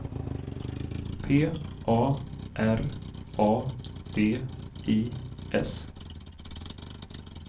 P A R A D I S